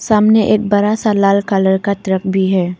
सामने एक बड़ा सा लाल कलर ट्रक भी है।